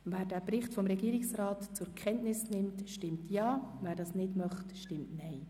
Wer den Bericht zur Kenntnis nimmt, stimmt Ja, wer das nicht möchte, stimmt Nein.